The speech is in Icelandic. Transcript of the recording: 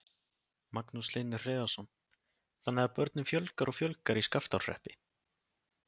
Magnús Hlynur Hreiðarsson: Þannig að börnum fjölgar og fjölgar í Skaftárhreppi?